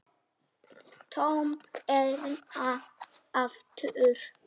Tom hérna aftur.